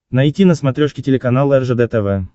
найти на смотрешке телеканал ржд тв